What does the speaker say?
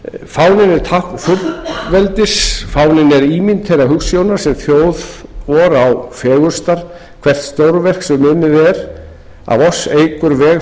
fáninn er tákn fullveldis vors fáninn er ímynd þeirra hugsjóna sem þjóð vor á fegurstar hvert stórverk sem unnið er af oss eykur veg